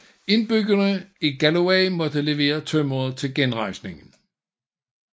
Indbyggerne i Galloway måtte levere tømmeret til genrejsningen